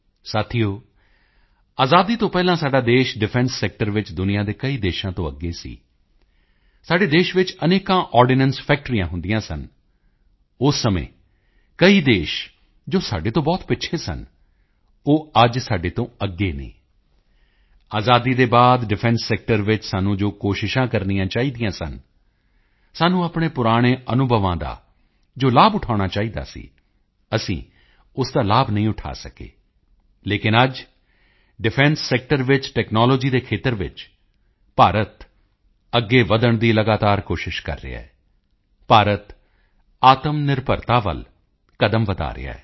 ਸਾਥੀਓ ਆਜ਼ਾਦੀ ਤੋਂ ਪਹਿਲਾਂ ਸਾਡਾ ਦੇਸ਼ ਡਿਫੈਂਸ ਸੈਕਟਰ ਵਿੱਚ ਦੁਨੀਆ ਦੇ ਕਈ ਦੇਸ਼ਾਂ ਤੋਂ ਅੱਗੇ ਸੀ ਸਾਡੇ ਦੇਸ਼ ਵਿੱਚ ਅਨੇਕਾਂ ਆਰਡੀਨੈਂਸ ਫੈਕਟਰੀਆਂ ਹੁੰਦੀਆਂ ਸਨ ਉਸ ਸਮੇਂ ਕਈ ਦੇਸ਼ ਜੋ ਸਾਡੇ ਤੋਂ ਬਹੁਤ ਪਿੱਛੇ ਸਨ ਉਹ ਅੱਜ ਸਾਡੇ ਤੋਂ ਅੱਗੇ ਹਨ ਆਜ਼ਾਦੀ ਦੇ ਬਾਅਦ ਡਿਫੈਂਸ ਸੈਕਟਰ ਵਿੱਚ ਸਾਨੂੰ ਜੋ ਕੋਸ਼ਿਸ਼ਾਂ ਕਰਨੀਆਂ ਚਾਹੀਦੀਆਂ ਸਨ ਸਾਨੂੰ ਆਪਣੇ ਪੁਰਾਣੇ ਅਨੁਭਵਾਂ ਦਾ ਜੋ ਲਾਭ ਉਠਾਉਣਾ ਚਾਹੀਦਾ ਸੀ ਅਸੀਂ ਉਸ ਦਾ ਲਾਭ ਨਹੀਂ ਉਠਾ ਸਕੇ ਲੇਕਿਨ ਅੱਜ ਡਿਫੈਂਸ ਸੈਕਟਰ ਸੈਕਟਰ ਵਿੱਚ ਟੈਕਨਾਲੋਜੀ ਦੇ ਖੇਤਰ ਵਿੱਚ ਭਾਰਤ ਅੱਗੇ ਵਧਣ ਦੀ ਲਗਾਤਾਰ ਕੋਸ਼ਿਸ਼ ਕਰ ਰਿਹਾ ਹੈ ਭਾਰਤ ਆਤਮਨਿਰਭਰਤਾ ਵੱਲ ਕਦਮ ਵਧਾ ਰਿਹਾ ਹੈ